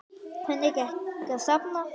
Lillý: Hvernig gekk að safna?